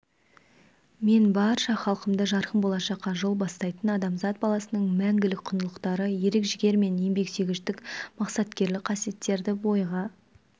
мен барша халқымды жарқын болашаққа жол бастайтын адамзат баласының мәңгілік құндылықтары ерік-жігер мен еңбексүйгіштік мақсаткерлік қасиеттерді бойға